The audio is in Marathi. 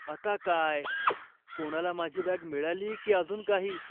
आता काय? कोणाला माझी बॅग मिळाली की अजून काही?